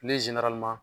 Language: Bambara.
Ne